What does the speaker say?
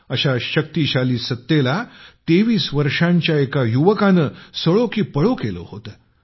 अशा शक्तीशाली सत्तेला तेवीस वर्षांच्या एका युवकाने सळो कि पळो केले होते